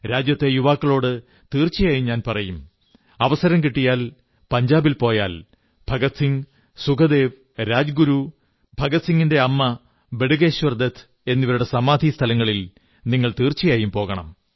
രാജ്യത്തെ യുവാക്കളോട് തീർച്ചയായും ഞാൻ പറയും അവസരം കിട്ടിയാൽ പഞ്ചാബിൽ പോയാൽ ഭഗത് സിംഗ് സുഖ്ദേവ് രാജഗുരു ഭഗത് സിംഗിന്റെ അമ്മ ബടുകേശ്വർ ദത്ത് എന്നിവരുടെ സമാധിസ്ഥലങ്ങളിൽ തീർച്ചയായും പോകണം